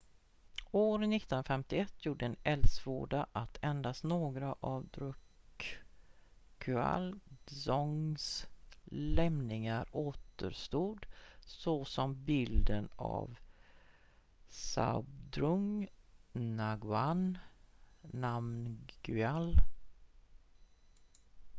år 1951 gjorde en eldsvåda att endast några av drukgyal dzongs lämningar återstod såsom bilden av zhabdrung ngawang namgyal